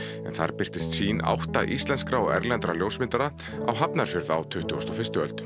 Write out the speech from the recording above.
en þar birtist sýn átta íslenskra og erlendra ljósmyndara á Hafnarfjörð á tuttugustu og fyrstu öld